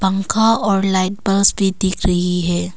पंखा और लाइट बस भी दिख रही है।